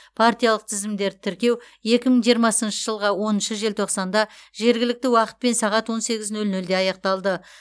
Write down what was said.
партиялық тізімдерді тіркеу екі мың жиырмасыншы жылғы оныншы желтоқсанда жергілікті уақытпен сағат он сегіз нөл нөлде аяқталды